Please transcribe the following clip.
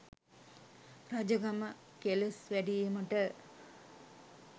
රජකම කෙලෙස් වැඩීමට